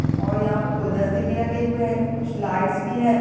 और यहाँ पे गुलदस्ते भी रखे हुए है कुछ लाइट्स भी हैं।